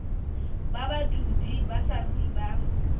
ba badudi ba saruri ba